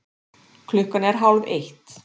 Klukkan er hálfeitt.